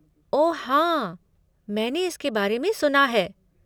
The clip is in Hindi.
ओह हाँ, मैंने इसके बारे में सुना है।